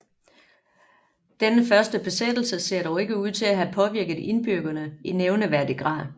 Denne første besættelse ser dog ikke ud til at have påvirket indbyggerne i nævneværdig grad